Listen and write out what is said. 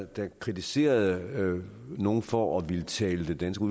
der kritiserede nogle for at ville tale den danske